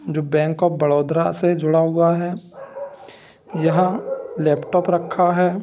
जो bank of Baroda से जुड़ा हुआ है यहाँ लैपटॉप रखा है ।